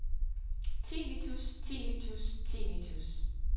tinnitus tinnitus tinnitus